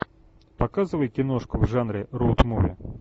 показывай киношку в жанре роуд муви